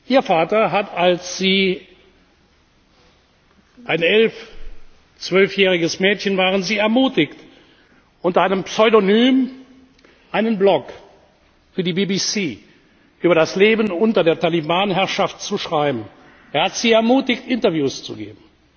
Ihr Vater hat Sie, als Sie ein elf zwölfjähriges Mädchen waren, ermutigt, unter einem Pseudonym einen Blog für die BBC über das Leben unter der Taliban Herrschaft zu schreiben, er hat sie ermutigt, Interviews zu geben